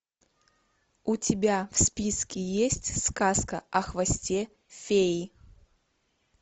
у тебя в списке есть сказка о хвосте феи